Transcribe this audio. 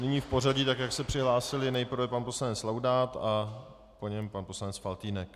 Nyní v pořadí, tak jak se přihlásili, nejprve pan poslanec Laudát a po něm pan poslanec Faltýnek.